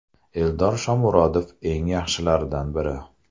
Eldor Shomurodov eng yaxshilardan biri.